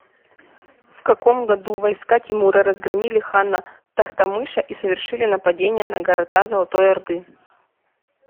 в каком году войска тимура разгромили хана тохтамыша и совершили нападение на города золотой орды